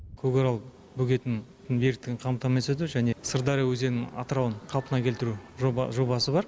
көкарал бөгетінің беріктігін қамтамасыз ету және сырдария өзенінің атырабын қалпына келтіру жобасы бар